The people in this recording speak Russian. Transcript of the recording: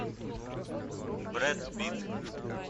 бред питт